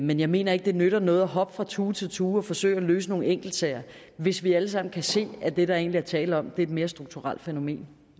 men jeg mener ikke det nytter noget at hoppe fra tue til tue og forsøge at løse nogle enkeltsager hvis vi alle sammen kan se at det der egentlig er tale om er et mere strukturelt fænomen